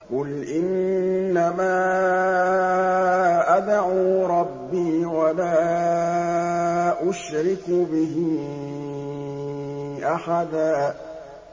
قُلْ إِنَّمَا أَدْعُو رَبِّي وَلَا أُشْرِكُ بِهِ أَحَدًا